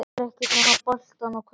Sér ekkert nema boltann og körfuna.